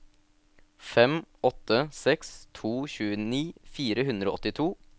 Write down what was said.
fem åtte seks to tjueni fire hundre og åttito